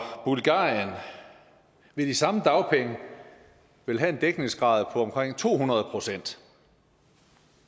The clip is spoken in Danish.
bulgarien vil de samme dagpenge vel have en dækningsgrad på omkring to hundrede procent